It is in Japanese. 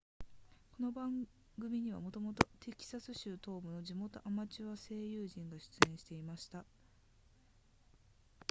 この番組にはもともとテキサス州東部の地元アマチュア声優陣が出演していました